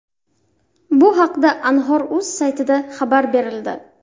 Bu haqda Anhor.uz saytida xabar berildi .